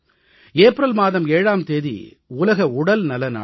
April மாதம் 7ஆம் தேதி உலக உடல்நல நாள்